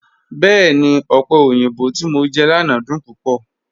Bẹẹ̀ni, ọpẹ̀ oyinbọ̀ ti mọ̀ jẹ lánà dún púpọ̀.